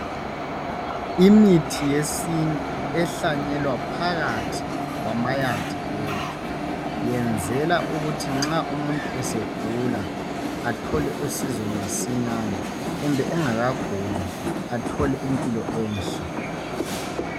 Imithi yesintu ehlanyalwa phakathi kwamayadi wethu ayenzelwa ukuthi umuntu ma esegula athole usizo masinyane kumbe engaka guli athole impilo enhle